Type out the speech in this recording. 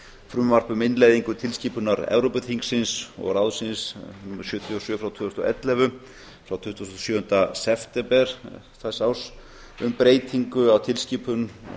frumvarp um innleiðingu tilskipunar evrópuþingsins og ráðsins númer sjötíu og sjö frá tvö þúsund og ellefu frá tuttugasta og sjöunda september þessa árs um breytingu á tilskipun